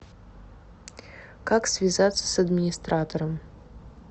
как связаться с администратором